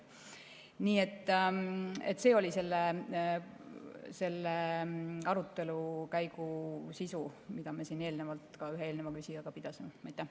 Nii et see oli selle arutelu, mida me siin eelnevalt ka ühe eelneva küsijaga pidasime, sisu.